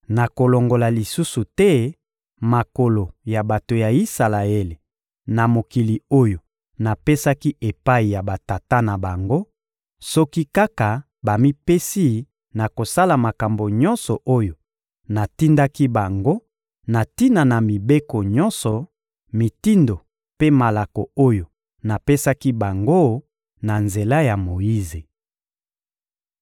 Nakolongola lisusu te makolo ya bato ya Isalaele na mokili oyo napesaki epai ya batata na bango, soki kaka bamipesi na kosala makambo nyonso oyo natindaki bango na tina na mibeko nyonso, mitindo mpe malako oyo napesaki bango na nzela ya Moyize.